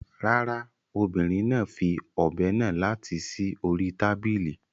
Rárá, obìnrin náà fi ọ̀be náà láti sí orí tábìlì.